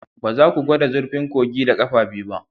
Ba za ku gwada zurfin kogin da ƙafa biyu ba